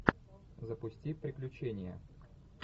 запусти приключения